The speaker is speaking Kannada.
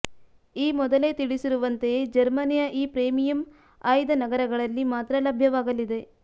ಈ ಮೊದಲೇ ತಿಳಿಸಿರುವಂತೆಯೇ ಜರ್ಮನಿಯ ಈ ಪ್ರೀಮಿಯಂ ಆಯ್ದ ನಗರಗಳಲ್ಲಿ ಮಾತ್ರ ಲಭ್ಯವಾಗಲಿದೆ